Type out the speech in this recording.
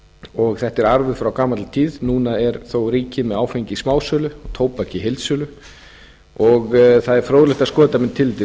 og þetta er arfur frá gamalli tíð núna er þó ríkið með áfengi í smásölu og tóbak heildsölu og það er fróðlegt að skoða þetta með tilliti til